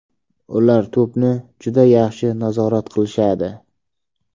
Ular to‘pni juda yaxshi nazorat qilishadi.